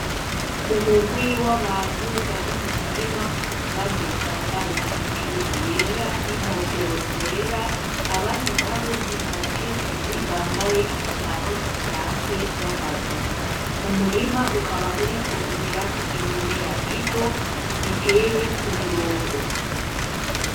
Umugwi w'abantu bari mu mirima, bamwe bambaye imipira yera n'inkofero zera abandi nabo ni abakenyezi bambaye inyambaro zisanzwe z'akazi. Umurima ukaba uriko umerako ibimera bito biteye ku mirongo.